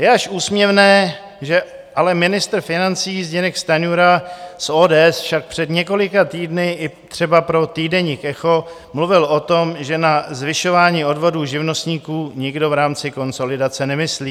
Je až úsměvné, že ale ministr financí Zbyněk Stanjura z ODS však před několika týdny i třeba pro týdeník Echo mluvil o tom, že na zvyšování odvodů živnostníků nikdo v rámci konsolidace nemyslí.